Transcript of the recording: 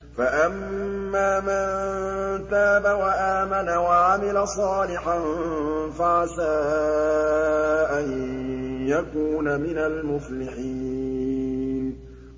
فَأَمَّا مَن تَابَ وَآمَنَ وَعَمِلَ صَالِحًا فَعَسَىٰ أَن يَكُونَ مِنَ الْمُفْلِحِينَ